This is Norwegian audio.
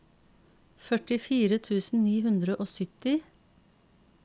førtifire tusen ni hundre og sytti